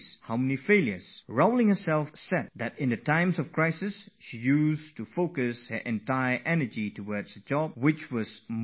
Rowling has herself said that in times of trouble she would channelize all her energies into tasks that had real significance for her